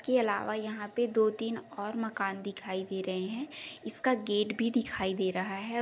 के अलावा यहाँ पे दो तीन और मकान दिखाई दे रहे हैं। इसका गेट भी दिखाई दे रहा है।